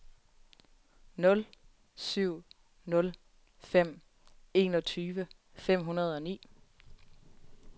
nul syv nul fem enogtyve fem hundrede og ni